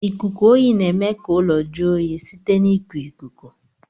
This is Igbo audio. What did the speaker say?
lkuku oyi na eme ka ụlọ jụọ oyi site na iku ikuku.